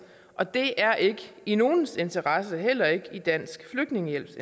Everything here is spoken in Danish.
og det er ikke i nogens interesse heller ikke dansk flygtningehjælps